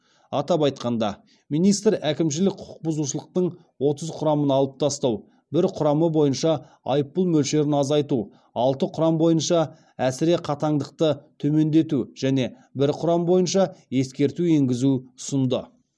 атап айтқанда министр әкімшілік құқықбұзушылықтың отыз құрамын алып тастау бір құрамы бойынша айыппұл мөлшерін азайту алты құрам бойынша әсіре қатаңдықты төмендету және де бір құрам бойынша ескерту енгізу ұсынды